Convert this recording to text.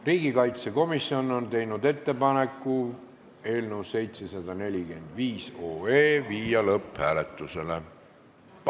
Riigikaitsekomisjon on teinud ettepaneku panna eelnõu 745 lõpphääletusele.